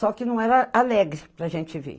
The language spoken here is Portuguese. Só que não era alegre para gente ver.